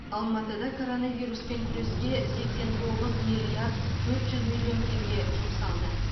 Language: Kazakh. алматыда коронавируспен күреске сексен тоғыз миллиард төрт жүз миллион теңге жұмсалды